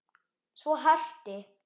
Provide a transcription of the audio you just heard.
Svo herti